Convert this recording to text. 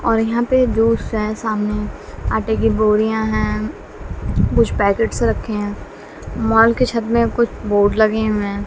और यहां पे है सामने आटे की बोरियां हैं कुछ पैकेट्स रखे हैं माल के छत में कुछ बोर्ड लगे हुए हैं।